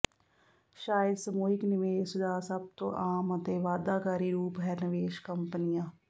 ਸ਼ਾਇਦ ਸਮੂਹਿਕ ਨਿਵੇਸ਼ ਦਾ ਸਭ ਤੋਂ ਆਮ ਅਤੇ ਵਾਅਦਾਕਾਰੀ ਰੂਪ ਹੈ ਨਿਵੇਸ਼ ਕੰਪਨੀਆਂ